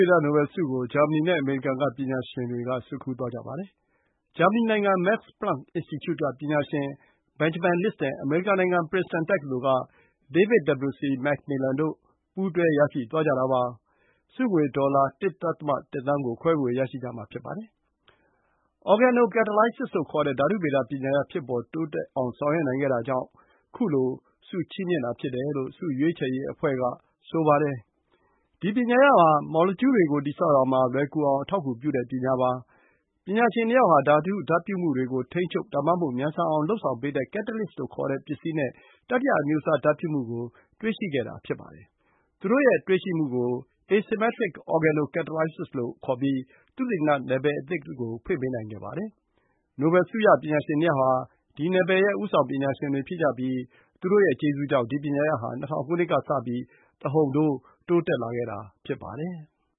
ေဒနိုဘယ်ဆုကို ဂျာမနီနဲ့ အမေရိကန်ကပညာရှင်တွေ ဆွတ်ခူးသွားကြပါတယ်။ဂျာမနီနိုင်ငံ Max-Planck-Institute က ပညာရှင် Benjamin List နဲ့ အမေရိကန် နိုင်ငံ ပရင်စတန်တက္ကသိုလ်က David W.C. MacMillan တို့က ပူးတွဲရရှိသွားကြတာပါ။ ဆုငွေ ဒေါ်လာ ၁.၁ သန်း ကို ခွဲဝေရရှိကြမှာဖြစ်ပါတယ်။ Organocatalysis လို့ခေါ်တဲ့ ဓာတုဗေဒ ပညာရပ်ဖြစ်ပေါ်တိုးတက်အောင် ဆောင်ရွက်နိုင်ခဲ့ကြတာကြောင့် ခုလို ဆုချီးမြှင့်တာ ဖြစ်တယ်လို့ ဆုရွေးချယ်ရေးအဖွဲ့က ဆိုပါတယ်။ ဒီ ပညာရပ်ဟာ မော်လီကျူးတွေကို တည်ဆောက်ရာမှာ လွယ်ကူအောင် အထောက်အကူပြုတဲ့ပညာပါ။ပညာရှင် ၂ ယောက်ဟာ ဓာတု ဓာတ်ပြုမှုတွေကို ထိန်းချုပ် ဒါမှမဟုတ် မြန်ဆန်အောင် လုပ်ဆောင်ပေးတဲ့ catalysts လို့ ခေါ်တဲ့ပစ္စည်းနဲ့ တတိယအမျိုးအစား ဓာတ်ပြုမှုကို တွေ့ရှိခဲ့တာပါ။သူတို့ရဲ့တွေ့ရှိမှုကို asymmetric organocatalysisလို့ ခေါ်ပြီး သုတေသန နယ်ပယ်အသစ်ကို ဖွင့်ပေးနိုင်ခဲ့ပါတယ်။ နိုဘယ် ဆုရပညာရှင် ၂ ယောက်ဟာ ဒီ နယ်ပယ်ရဲ့ ဦးဆောင်ပညာရှင်တွေဖြစ်ကြပြီး သူတို့ကျေးဇူးကြောင့် ဒီ ပညာရပ်ဟာ ၂၀၀၀ ခုနှစ်ကစပြီး တဟုန်ထိုး တိုးတက်လာခဲ့ရတာဖြစ်ပါတယ်။